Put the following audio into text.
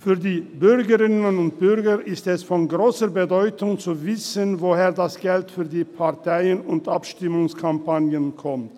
Für die Bürgerinnen und Bürger ist es von grosser Bedeutung zu wissen, woher das Geld für die Parteien- und Abstimmungskampagnen kommt.